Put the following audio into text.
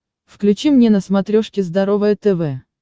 включи мне на смотрешке здоровое тв